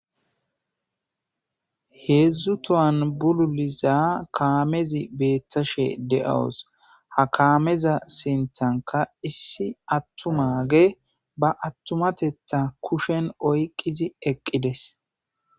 Heedzdzu tohan bululiza kaamezi beettashe de7owos ha kaameza sintanka issi attumage ba attumatetta kushen oyqqizi eqqides